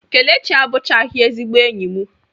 Kelechi abụchaghị ezigbo enyi m.